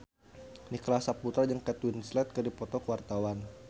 Nicholas Saputra jeung Kate Winslet keur dipoto ku wartawan